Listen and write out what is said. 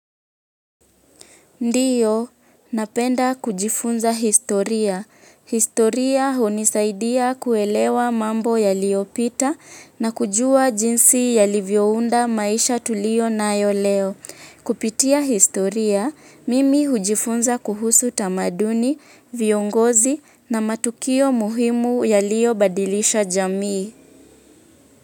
Ndiyo, napenda kujifunza historia. Historia hunisaidia kuelewa mambo yaliopita na kujua jinsi yalivyounda maisha tulio nayo leo. Kupitia historia, mimi hujifunza kuhusu tamaduni, viongozi na matukio muhimu yaliyo badilisha jamii.